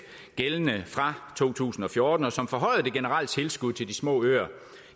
gældende fra to tusind og fjorten som forhøjede det generelle tilskud til de små øer